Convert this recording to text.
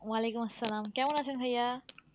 ওয়ালাইকুম আসসালাম কেমন আছেন ভাইয়া?